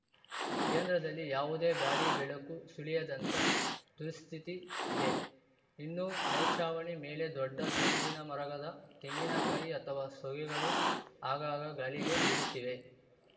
ಕೇಂದ್ರದಲ್ಲಿ ಯಾವುದೇ ಗಾಳಿ ಬೆಳಕು ಸುಳಿಯದಂಥ ದುಸ್ಥಿತಿ ಇದೆ ಇನ್ನು ಮೇಲ್ಚಾವಣಿ ಮೇಲೆ ದೊಡ್ಡ ತೆಂಗಿನಮರಗದ ತೆಂಗಿನಕಾಯಿ ಅಥವಾ ಸೋಗೆಗಳು ಆಗಾಗ ಗಾಳಿಗೆ ಬೀಳುತ್ತಿವೆ